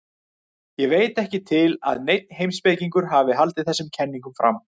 Ég veit ekki til að neinn heimspekingur hafi haldið þessum kenningum fram.